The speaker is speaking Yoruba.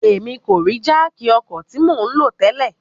Bẹẹni, Emi ko rii jáákí ọkọ ti mo nlo tẹlẹ